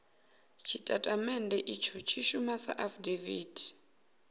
tshitatamennde itsho tshi shuma sa afidaviti